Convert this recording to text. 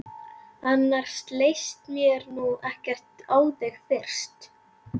Annars leist mér nú ekkert á þig fyrst!